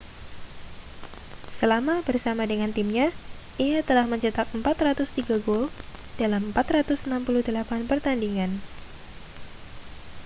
selama bersama dengan timnya ia telah mencetak 403 gol dalam 468 pertandingan